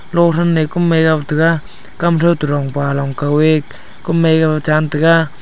lo ham me kum mai nga tega kam thorong pa long kow ea kam mai yaa ngan tega.